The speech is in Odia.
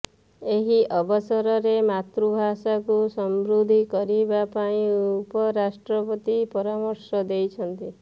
ଏହି ଅବସରରେ ମାତୃଭାଷକୁ ସମୃଦ୍ଧି କରିବା ପାଇଁ ଉପରାଷ୍ଟ୍ରପତି ପରାମର୍ଶ ଦେଇଛନ୍ତି